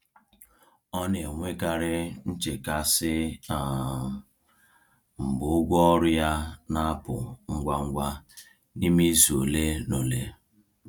Ọ na-enwekarị nchekasị um mgbe ụgwọ ọrụ ya na-apụ ngwa ngwa n’ime izu ole na ole.